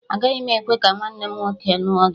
Agaghị m ekwe ka nwanne m nwoke ṅụọ gị!